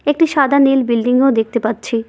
একটি সাদা নীল বিল্ডিংও দেখতে পাচ্ছি।